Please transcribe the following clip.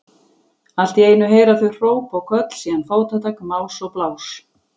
Allt í einu heyra þau hróp og köll, síðan fótatak, más og blás.